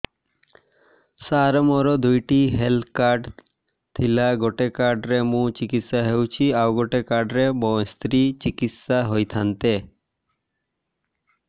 ସାର ମୋର ଦୁଇଟି health card ଥିଲା ଗୋଟେ କାର୍ଡ ରେ ମୁଁ ଚିକିତ୍ସା ହେଉଛି ଆଉ ଗୋଟେ କାର୍ଡ ରେ ମୋ ସ୍ତ୍ରୀ ଚିକିତ୍ସା ହୋଇଥାନ୍ତେ